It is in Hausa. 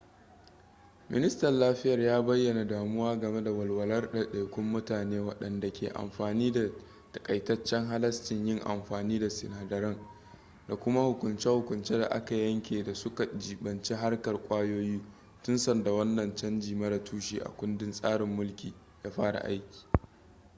ministan lafiyar ya bayyana damuwa game da walwalar ɗaiɗaikun mutane wadanda ke amfani da takaitaccen halascin yin amfani da sinadaran da kuma hukunce-hukunce da aka yanke da suka jibanci harkar kwayoyi tun sanda wannan canji mara tushe a kundin tsarin mulki ya fara aiki